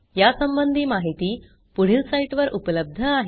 यासंबंधी माहिती पुढील साईटवर उपलब्ध आहे